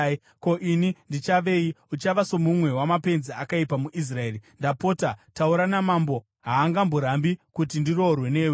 Ko, ini ndichavei? Uchava somumwe wamapenzi akaipa muIsraeri. Ndapota, taura namambo; haangamborambi kuti ndiroorwe newe.”